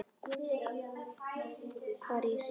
Hvar ég sé.